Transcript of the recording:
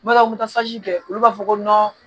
Baw n bɛ taa kɛ olu b'a fɔ ko